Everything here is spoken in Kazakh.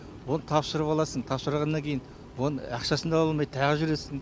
оны тапсырып аласың тапсырғаннан кейін оны ақшасын да ала алмай тағы жүресің